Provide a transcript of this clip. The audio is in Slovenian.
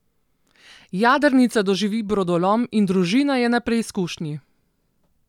Jadrnica doživi brodolom in družina je na preizkušnji.